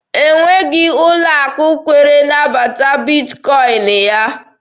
O nweghị ụlọ akụ kwere nabata Bitkọin ya.